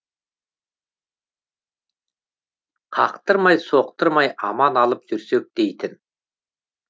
қақтырмай соқтырмай аман алып жүрсек дейтін